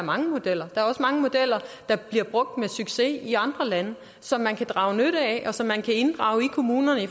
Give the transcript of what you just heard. mange modeller der er også mange modeller der bliver brugt med succes i andre lande som man kan drage nytte af og som man kan inddrage i kommunerne